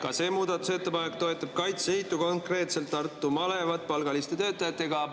Ka see muudatusettepanek toetab Kaitseliitu, konkreetselt Tartu malevat palgaliste töötajatega.